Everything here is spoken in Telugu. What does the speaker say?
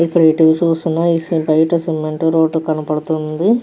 ఇక్కడ నించొని చూస్తున బయట సిమెంట్ రోడ్ కనపడుతుంది.